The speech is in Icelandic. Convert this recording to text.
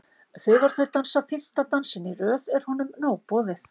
Þegar þau dansa fimmta dansinn í röð er honum nóg boðið.